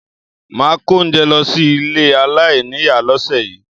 Máà kó oúnjẹ lọ sí ilé aláìníìyá lọ́sẹ̀ yìí